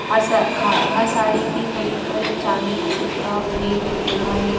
हर सा खा हर साड़ी की खरीद पर एक चांदी का सिक्का फ्री लिखा है।